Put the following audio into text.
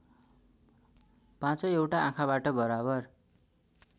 पाँचैवटा आँखाबाट बराबर